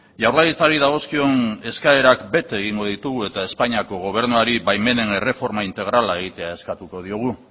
jaurlaritzari dagozkion eskaerak bete egingo ditugu eta espainiako gobernuari baimenen erreforma integrala egitea eskatuko diogu